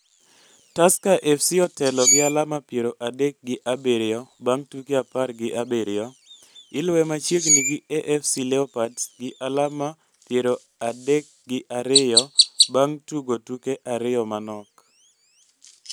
Tusker FC otelo gi alama piero adekk gi abiriyo bang' tuke apar gi abiriyo, iluwe machiegni gi AFC Leopards, gi alama iero ade gi ariyo bang' tugo tuke ariyo manok.